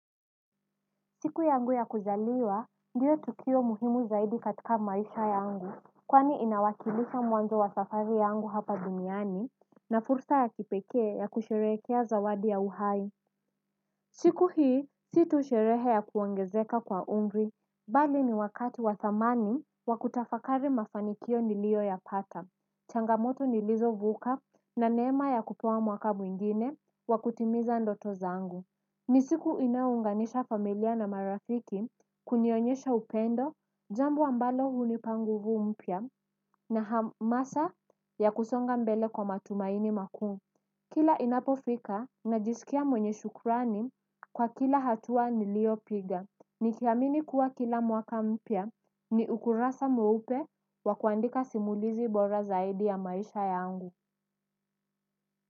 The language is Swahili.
Siku yangu ya kuzaliwa ndio tukio muhimu zaidi katika maisha yangu kwani inawakilisha mwanzo wa safari yangu hapa duniani na fursa ya kipekee ya kusherehekea zawadi ya uhai siku hii si tu sherehe ya kuongezeka kwa umri bali ni wakati wa thamani wakutafakari mafanikio nilioyapata changamoto nilizovuka na neema ya kupewa mwaka mwingine wakutimiza ndoto zangu. Ni siku inayounganisha familia na marafiki kunionyesha upendo, jambo ambalo hunipa nguvu mpya na hamasa ya kusonga mbele kwa matumaini makuu. Kila inapofika na jisikia mwenye shukrani kwa kila hatua niliyopiga. Nikiamini kuwa kila mwaka mpya ni ukurasa mweupe wakuandika simulizi bora zaidi ya maisha yangu.